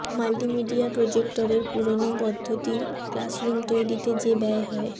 multimedia প্রজেক্টরের পুরোনো পদ্ধতির ক্লাসরুম তৈরিতে যে ব্যয় হয়ে